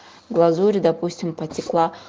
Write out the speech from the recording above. глазурь допустим потекла